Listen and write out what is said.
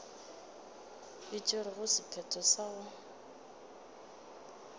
e tšerego sephetho sa go